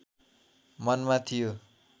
मनमा थियो